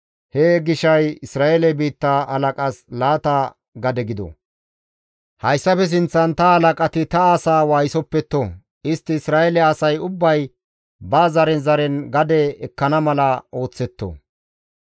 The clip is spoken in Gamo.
He gishay Isra7eele biitta halaqas laata gade gido. Hayssafe sinththan ta halaqati ta asa waayisoppetto; istti Isra7eele asay ubbay ba zaren zaren gade ekkana mala ooththetto.